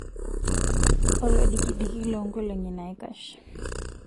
Olodikidiki longolongi naikash.